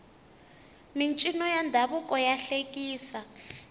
mincino ya ndhavuko ya hlekisa